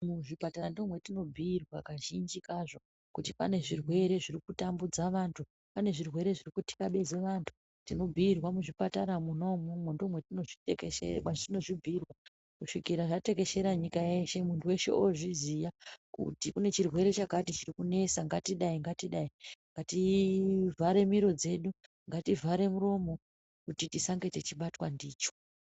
Muzvipatara ndomwetinobhuirwa kazhinji kazvo kuti pane zvirwere zviri kutambudza vantu. Pane zvirwere zviri kutikabeza vantu tinobhuirwa muzvipatara mwona imwomwo ndomatinozvitekeshe mwatinozvibhuirwa kusvikira zvatekeshera nyika yeshe muntu veshe ozviziya. Kuti une chirwere chakati chirikunesa ngatidai-ngatidai, ngati vhare miro dzedu ngati vhare muromo kuti tisange techibatwa ndicho.